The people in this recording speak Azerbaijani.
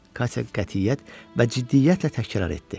Katya qətiyyət və ciddiyyətlə təkrar etdi.